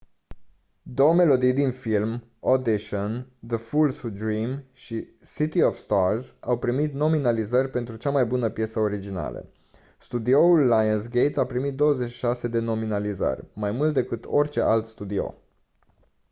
două melodii din film audition the fools who dream și city of stars au primit nominalizări pentru cea mai bună piesă originală. studioul lionsgate a pimit 26 de nominalizări – mai mult decât orice alt studio